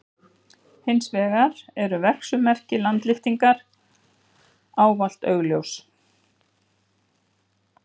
Hins vegar eru verksummerki landlyftingar ávallt augljós.